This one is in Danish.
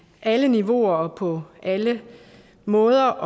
alle niveauer og på alle måder